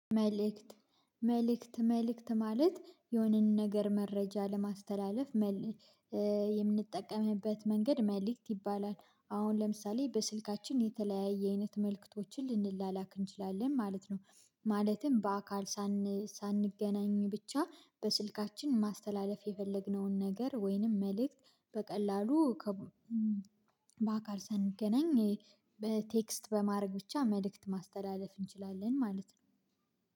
መልእክት መልእክት መልእክት ማለት የሆነንን ነገር መረጃ ለማስተላለፍ የምንጠቀምበት መንገድ መልእክት ይባላል። አሁን ለምሳሌ በስልካችን የተለያየ አይነት መልእክቶችን ልንላላክ እንችላለን ማለት ነው። ማለትም በአካል ሳንገናኝ ብቻ በስልካችን ማስተላለፍ የፈለግነውን ነገር ወይንም መልእክት በቀላሉ በአካል ሳንገናኝ በቴክስት በማድረግ ብቻ መልእክት ማስተላለፍ እንችላለን ማለት ነው።